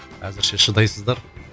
әзірше шыдайсыздар